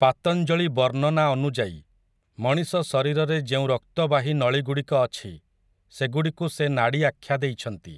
ପାତଞ୍ଜଳି ବର୍ଣ୍ଣନା ଅନୁଯାୟୀ, ମଣିଷ ଶରୀରରେ ଯେଉଁ ରକ୍ତବାହୀ ନଳିଗୁଡ଼ିକ ଅଛି, ସେଗୁଡ଼ିକୁ ସେ ନାଡ଼ି ଆଖ୍ୟା ଦେଇଛନ୍ତି ।